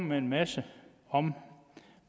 med en masse om